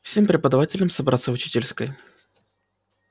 всем преподавателям собраться в учительской